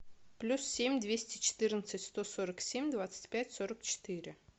плюс семь двести четырнадцать сто сорок семь двадцать пять сорок четыре